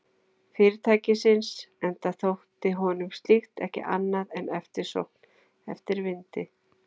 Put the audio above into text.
Fyrirtækisins, enda þótti honum slíkt ekki annað en eftirsókn eftir vindi.